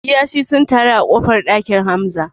Kiyashi sun taru a ƙofar ɗakin Hamza